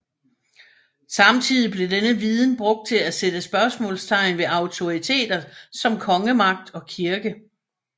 Samtidig blev denne viden brugt til at sætte spørgsmålstegn ved autoriteter som kongemagt og kirke